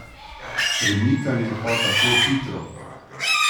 Premikanje pa tako hitro.